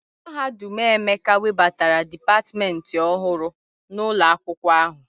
Mahadum Emeka webatara dipatmentị ọhụrụ n'ụlọ akwụkwọ ahụ.